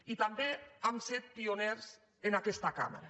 i també hem set pioners en aquesta cambra